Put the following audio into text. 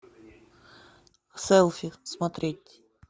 селфи смотреть